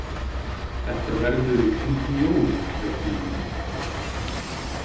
Þetta verður í kringum jólin reikna ég með.